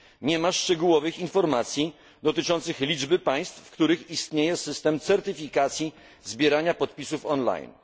Nie ma szczegółowych informacji dotyczących liczby państw, w których istnieje system certyfikacji zbierania podpisów online.